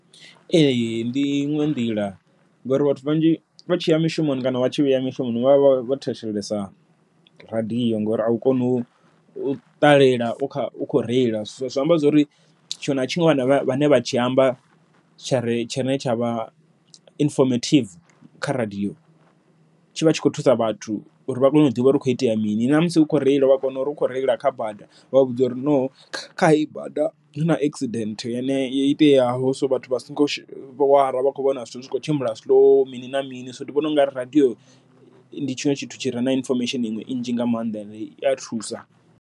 Ee ndi i ṅwe nḓila, ngori vhathu vhanzhi vha tshiya mushumoni kana vha tshi vhuya mishumoni vha vha vho thetshelesa radiyo ngori a u koni u ṱalela u kha u khou reila. Zwi amba zwori tshiṅwe na tshiṅwe vhane vha tshi amba tsha re tshine tsha vha inifomativi kha radiyo, tshi vha tshi khou thusa vhathu uri vha kone u ḓivha uri hu khou itea mini. Namusi u kho reila vha kona uri u khou reila kha bada vha vhudze uri no kha heyi bada huna accident yene yo iteaho, so vhathu vha songo wara vha kho vhona zwithu zwi kho tshimbila slow mini na mini, so ndi vhona ungari radiyo ndi tshiṅwe tshithu tshi re na inifomesheni iṅwe nnzhi nga maanḓa and i a thusa.